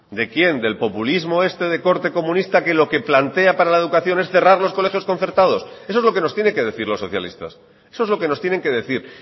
de quién del populismo este de corte comunista que lo que plantea para la educación es cerrar los colegios concertados eso es lo que nos tiene que decir los socialistas eso es lo que nos tienen que decir